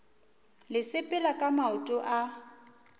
le sepela ka maoto a